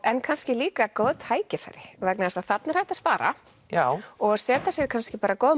en kannski líka góð tækifæri vegna þess að þarna er hægt að spara já og setja sér kannski bara góð